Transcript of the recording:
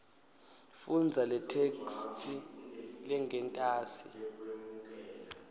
fundza letheksthi lengentasi